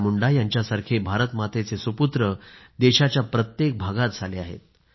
बिरसा मुंडा यांच्यासारखे भारत मातेचे सुपूत्र देशाच्या प्रत्येक भागात झाले आहेत